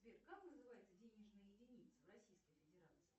сбер как называется денежная единица в российской федерации